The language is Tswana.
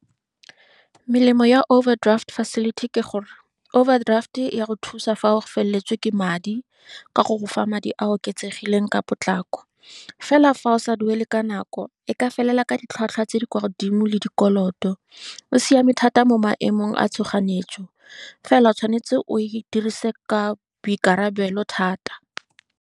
Melemo ya overdraft facility ke gore, overdraft-e ya go thusa fa o feleletswe ke madi, ka go go fa madi a a oketsegileng ka potlako. Fela fa o sa duele ka nako e ka felela ka ditlhwatlhwa tse di kwa godimo le dikoloto, o siame thata mo maemong a tshoganyetso. Fela o tshwanetse o e dirise ka boikarabelo thata.